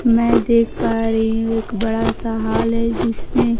मैं देख पा रही हूं एक बड़ा सा हाल है जिसमें--